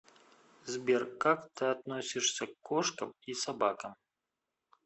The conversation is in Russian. сбер как ты относишься к кошкам и собакам